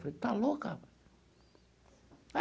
Falei, está louca?